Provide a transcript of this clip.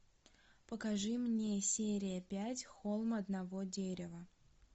покажи мне серия пять холм одного дерева